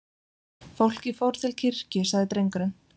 Fólkið fór til kirkju, sagði drengurinn.